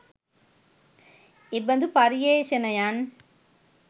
එබඳු පර්යේෂණයන්